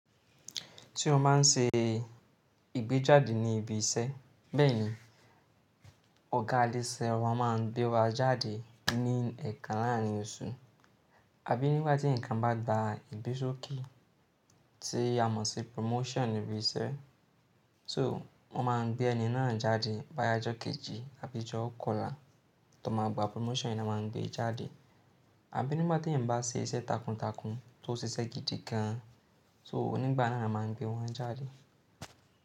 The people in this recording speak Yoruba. Tí o máa ń ṣe ìgbéjáde ní ibi iṣẹ́, bẹ́ẹ̀ ni ọ̀gá alése ọba máa ń gbé wa jáde ní ẹ̀ẹ̀kan láàárín oṣù. Àbí nígbà tí ǹkan bá gba ibe sókè, tí a mọ̀ sí promotion ibi iṣẹ́. So wọ́n máa ń gbé ẹni náà jáde bá yá jọ kejì àbí jọ kọlà, tí wọ́n máa gba promotion ni wọ́n máa ń gbé e jáde. Àbí nígbà tí ẹ̀yin bá ṣe iṣẹ́ takuntakun tó ṣe sẹ́ gidi gan, so nígbà náà ni wọ́n máa ń gbé wọn jáde.